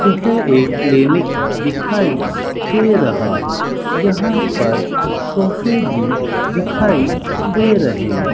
यह एक क्लीनिक दिखाई दे रहा है यहां पर सोफे भी दिखाई दे रहे--